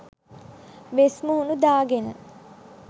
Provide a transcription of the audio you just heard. වෙස් මුහුණු දාගෙන